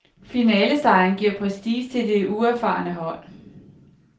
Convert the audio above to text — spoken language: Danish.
Finalesejren giver prestige til det uerfarne hold.